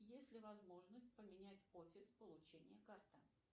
есть ли возможность поменять офис получения карты